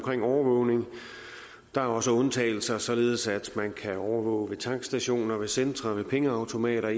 overvågning der er også undtagelser således at man kan overvåge ved tankstationer ved centre ved pengeautomater